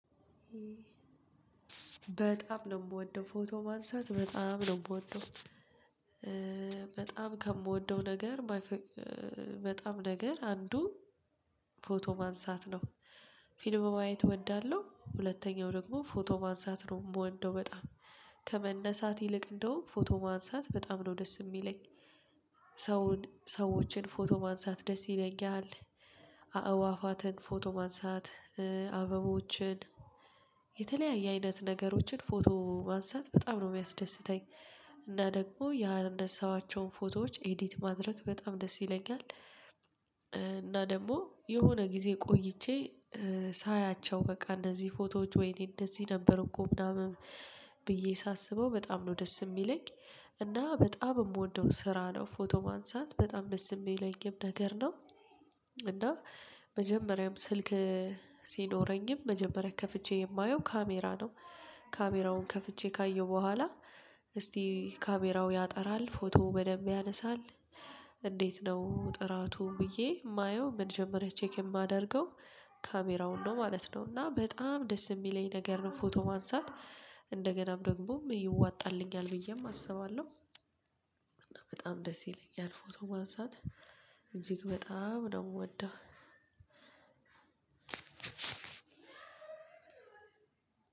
በጣም ነው የምወደው ፎቶ ማንሳት በጣም ነው የምወደው በጣም ከምወደው ነገር በጣም ነገር አንዱ ፎቶ ማንሳት ነው። ፊልም ማየት እወዳለሁ ሁለተኛው ደግሞ ፎቶ ማንሳት ነው የምወደው በጣም። ከመነሳት ይልቅ እንደውም ፎቶ ማንሳት በጣም ነው ደስ የሚለኝ። ሰው ሰዎችን ፎቶ ማንሳት ደስ ይለኛል። አእዋፋትን ፎቶ ማንሳት አበቦችን የተለያየ አይነት ነገሮችን ፎቶ ማንሳት በጣም ነው የሚያስደስተኝ። እና ደግሞ ያነሳኋቸውን ፎቶዎች ኤዲት ማድረግ በጣም ደስ ይለኛል። እና ደግሞ የሆነ ጊዜ ቆይቼ ሳያቸው በቃ እንደዚህ ፎቶዎች ወይኔ እንደዚህ ነበር እኮ ምናምን ብዬ ሳስበው በጣም ነው ደስ የሚለኝ። እና በጣም የምወደው ስራ ነው ፎቶ ማንሳት በጣም ደስ የሚለኝም ነገር ነው። እና መጀመሪያም ስልክ ሲኖረኝም መጀመሪያ ከፍቼ የማየው ካሜራ ነው። ካሜራውን ከፍቼ ካየሁ በኋላ እስቲ ካሜራው ያጠራል ፎቶ በደንብ ያነሳል። እንዴት ነው ጥራቱ ብዬ የማየው መጀመረችያ ቼክ የማደርገው ካሜራውን ነው ማለት ነው። እና በጣም ደስ የሚለኝ ነገር ነው ፎቶ ማንሳት። እንደገናም ደግሞም ይዋጣልኛል ብዬም አስባለሁ። በጣም ደስ ይለኛል ፎቶ ማንሳት እንጂ በጣም ነው የምወደው።